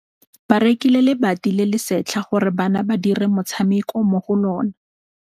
Ba rekile lebati le le setlha gore bana ba dire motshameko mo go lona.